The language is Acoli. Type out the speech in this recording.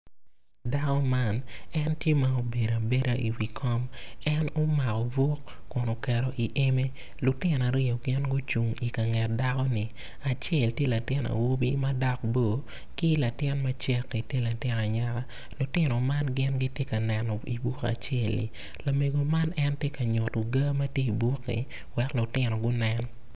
Dako man en tye ma obedo abeda i wi kom en omako buk kun oketo i eme lutino aryo gin gucung i ka nget dako ni acel tye latin awobi ma en dok bor ki latin macek tye latin anyaka lutino man gitye ka neno i buk acelli lamego man en tye ka nyuto ga ma tye i bukki wek lutino gunen.